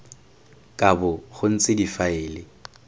ka bo go ntse difaele